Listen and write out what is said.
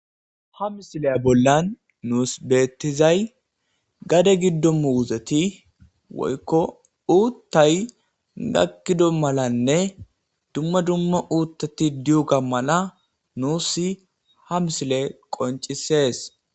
Ha misileya bollan nuus beettizay gade giddo muuzeti woykko uuttay gakkido malanne dumma dumma uuttati diyuga mala nuus ha misile qoncisees